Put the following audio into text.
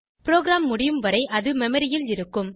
program முடியும் வரை அது மெமரி ல் இருக்கும்